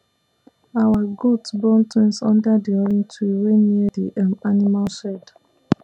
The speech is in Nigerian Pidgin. our goat born twins under di orange tree wey near the um animal shed